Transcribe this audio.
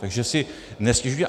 Takže si nestěžujte.